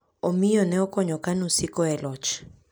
Omiyo ne okonyo KANU siko e loch.